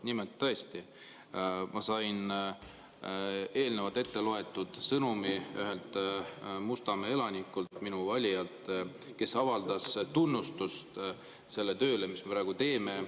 Nimelt tõesti, ma sain eelnevalt ette loetud sõnumi ühelt Mustamäe elanikult, minu valijalt, kes avaldas tunnustust sellele tööle, mis me praegu teeme.